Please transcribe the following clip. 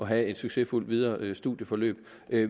have et succesfuldt videre studieforløb